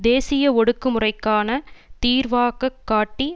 தேசிய ஒடுக்கு முறைக்கான தீர்வாகக் காட்டி